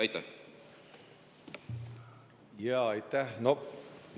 Aitäh!